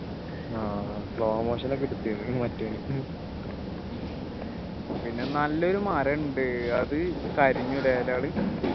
ആഹ് slow motion ഒക്കെ എടുത്തതിനു മറ്റോനി പിന്നെ നല്ലൊരു മരണ്ട് അത് കരിഞ്ഞു ല്ലേ ഇലകള്